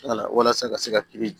Walasa ka se ka kiiri